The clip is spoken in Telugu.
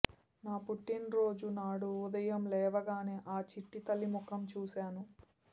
నా పుట్టినరోజు నాడు ఉదయం లేవగానే ఆ చిట్టితల్లి ముఖం చూశాను